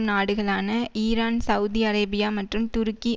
நாடுகளான Iran Saudi Arabia மற்றும் துருக்கி